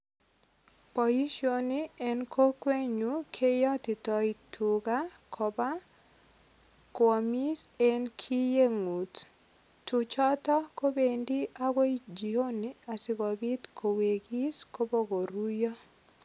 Boisioni en kokwenyu keyotitoi tuga koba kwomis en kiyengut. Tuchoto kobendi agoi jioni asigopit kowegis kobokoruiyo.